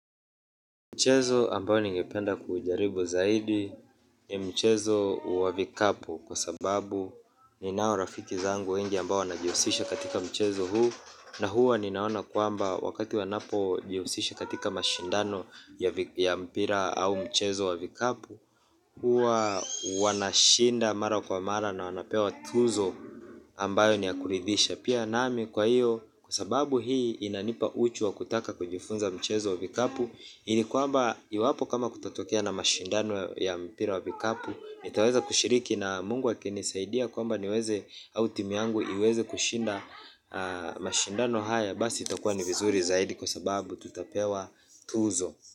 Mchezo ambayo ningependa kuujaribu zaidi ni mchezo wa vikapu kwa sababu ninao rafiki zangu wengi ambao wanajiusisha katika mchezo huu na huwa ninaona kwamba wakati wanapojiusisha katika mashindano ya mpira au mchezo wa vikapu huwa wanashinda mara kwa mara na wanapewa tuzo ambayo ni ya kuridhisha pia nami kwa iyo. Kwa sababu hii inanipa uchu wa kutaka kujifunza mchezo wa vikapu. Ini kwamba iwapo kama kutatokea na mashindano ya mpira wa vikapu nitaweza kushiriki na mungu akinisaidia kwamba niweze au timu yangu iweze kushinda mashindano haya. Basi itakuwa ni vizuri zaidi kwa sababu tutapewa tuzo.